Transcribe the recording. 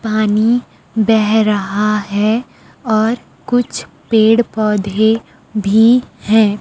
पानी बह रहा है और कुछ पेड़ पौधे भी हैं।